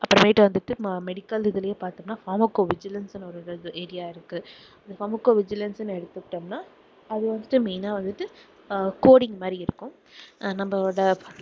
அப்புறமேட்டு வந்துட்டு medical இதுலேயே வந்து பாத்தோம்னா pharmacovigilance னு ஒரு area இருக்கு pharmacovigilance னு எடுத்துகிட்டோம்னா அது வந்துட்டு main ஆ வந்துட்டு அஹ் coding மாதிரி இருக்கும் நம்மளோட